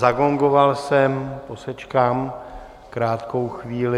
Zagongoval jsem, posečkám krátkou chvíli.